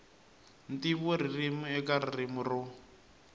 ntivo ririmi eka ririmi ro